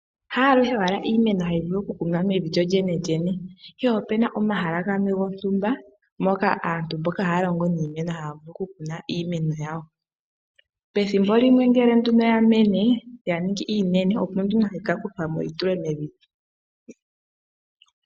Haaluhe owala iimeno hayi vulu okukunwa mevi lyo lyenelyene, ihe ope na omahala gamwe gontumba moka aantu mboka haya longo niimeno haya vulu okukuna iimeno yawo. Pethimbo limwe ngele nduno ya mene ya ningi iinene opo nduno hayi ka kuthwa mo yi tulwe mevi.